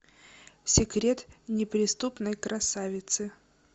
секрет неприступной красавицы